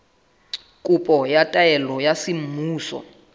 kopo ya taelo ya semmuso